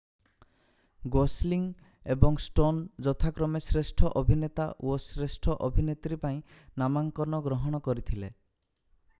Gosling ଏବଂ Stone ଯଥାକ୍ରମେ ଶ୍ରେଷ୍ଠ ଅଭିନେତା ଓ ଶ୍ରେଷ୍ଠ ଅଭିନେତ୍ରୀ ପାଇଁ ନାମାଙ୍କନ ଗ୍ରହଣ କରିଥିଲେ